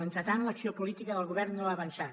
entretant l’acció política del govern no ha avançat